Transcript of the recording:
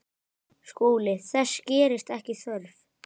SKÚLI: Þess gerist ekki þörf.